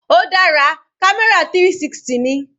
Ó dára, camera 360 ni.